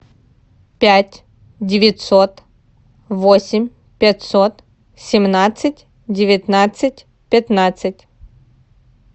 пять девятьсот восемь пятьсот семнадцать девятнадцать пятнадцать